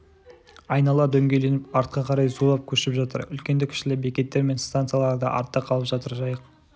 айнала дөңгеленіп артқа қарай зулап көшіп жатыр үлкенді-кішілі бекеттер мен стансалар да артта қалып жатыр жайық